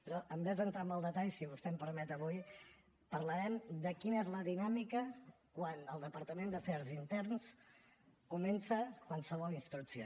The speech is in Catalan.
però en comptes d’entrar en el detall si vostè m’ho permet avui parlarem de quina és la dinàmica quan la divisió d’afers interns comença qualsevol instrucció